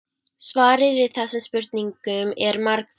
Svarið við þessum spurningum er margþætt.